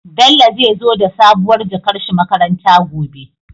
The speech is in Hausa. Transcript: Bello zai zo da sabuwar jakar shi makaranta gobe